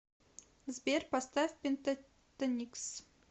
сбер поставь пентатоникс